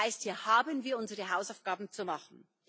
Das heißt, hier haben wir unsere Hausaufgaben zu machen.